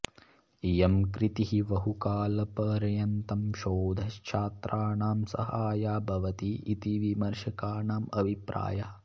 इयं कृतिः बहुकालपर्यन्तं शोधच्छात्रानां सहाया भवति इति विमर्शकानाम् अभिप्रायः